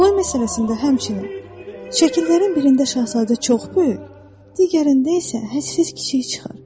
Boy məsələsində həmçinin, şəkillərin birində şahzadə çox böyük, digərində isə hədsiz kiçik çıxır.